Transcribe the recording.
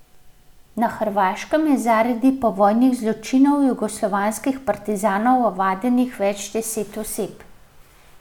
Na Hrvaškem je zaradi povojnih zločinov jugoslovanskih partizanov ovadenih več deset oseb.